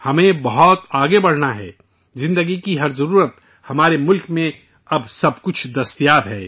ہمیں بہت آگے بڑھنا ہے، زندگی کی ہر ضرورت ہمارے ملک میں، اب، سب کچھ دستیاب ہے